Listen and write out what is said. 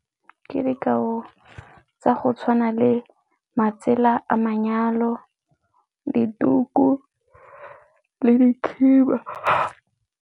Ke dikao tsa go tshwana le matsela a manyalo, dituku le dikhiba.